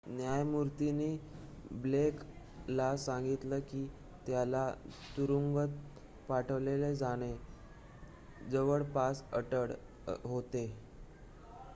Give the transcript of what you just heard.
"न्यायमूर्तीनी Blake ला सांगितले की त्याला तुरुंगात पाठवले जाणे "जवळपास अटळ" होते.